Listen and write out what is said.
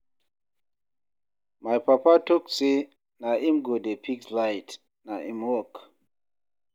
My papa tok say na him go dey fix light, na im work.